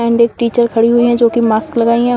And एक teacher खड़ी हुई हैं जो कि मास्क लगाई हैं।